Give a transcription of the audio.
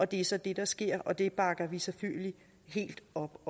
det er så det der sker og det bakker vi selvfølgelig helt op